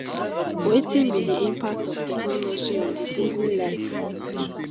wetin be di impact of technology on di daily life?